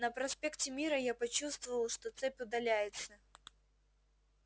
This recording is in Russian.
на проспекте мира я почувствовал что цепь удаляется